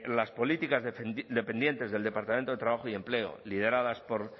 las políticas dependientes del departamento de trabajo y empleo lideradas por